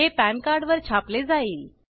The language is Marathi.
हे पॅन कार्ड वर छापले जाईल